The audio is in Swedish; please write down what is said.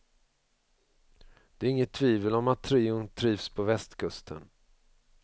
Det är inget tvivel om att trion trivs på västkusten.